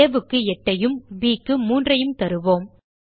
ஆ க்கு 8 ஐயும் ப் க்கு 3ஐயும் தருவோம்